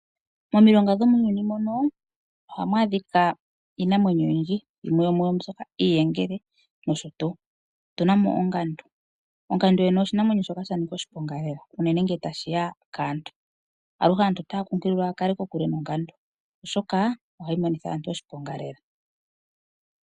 Momilonga dho muuyuni muno ohamu adhika iinamwenyo oyindji, yimwe yo muyo oombyoka iiyengele nosho tuu. Otu namo ongandu, ongandu yoyene oshinamwenyo shoka sha nika oshiponga lela, uunene nge ta shiya kaantu. Aluhe aantu otaya kunkililwa ya kale kokule nongandu. Oshoka ohayi monitha aantu oshiponga lela.